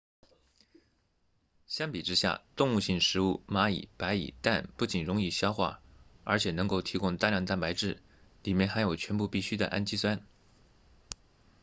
相比之下动物性食物蚂蚁白蚁蛋不仅容易消化而且能提供大量蛋白质里面含有全部必需的氨基酸